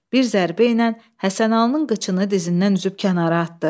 Bir zərbə ilə Həsənalının qıçını dizindən üzüb kənara atdı.